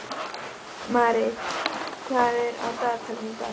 Marit, hvað er á dagatalinu í dag?